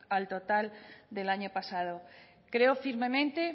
al total del año pasado creo firmemente